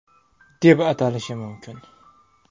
deb atalishi mumkin.